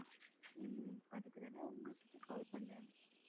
உம் அதுக்குத்தானே உங்ககிட்ட call பண்ணேன்